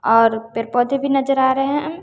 और पेर पौधे भी नजर आ रहे हैं।